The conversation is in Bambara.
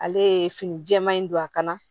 Ale ye fini jɛma in don a kanna